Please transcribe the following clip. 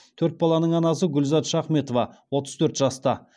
төрт баланың анасы гүлзат шахметова отыз төрт жаста